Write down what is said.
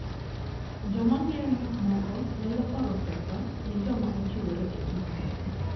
Joma ng'iewo gik moko nyalo oro pesa ne joma ochiwore e tijno.